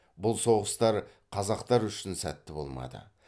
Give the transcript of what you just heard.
бұл соғыстар қазақтар үшін сәтті болмады